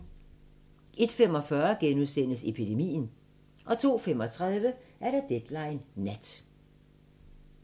01:45: Epidemien * 02:35: Deadline Nat